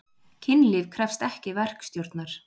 Kynlíf krefst ekki verkstjórnar.